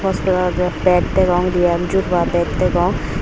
hospitalo bed degong diyan juruia bed degong.